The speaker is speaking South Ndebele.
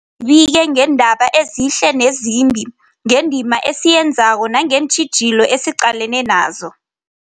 Kufuze zibike ngeendaba ezihle nezimbi, ngendima esiyenzako nangeentjhijilo esiqalene nazo.